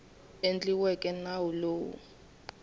endliweke nawu lowu wu nga